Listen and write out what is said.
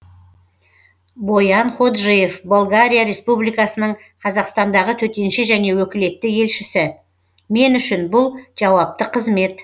боян ходжиев болгария республикасының қазақстандағы төтенше және өкілетті елшісі мен үшін бұл жауапты қызмет